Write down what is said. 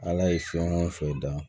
Ala ye fɛn o fɛn da